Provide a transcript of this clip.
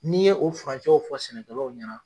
N'i ye o furancɛw fɔ sɛnɛkɛlaw ɲɛna